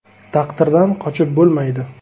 Taqdirdan qochib bo‘lmaydi.